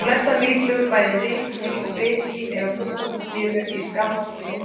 Flestar mýflugur, bæði rykmý og bitmý eru á fullorðna stiginu í skamman tíma á sumrin.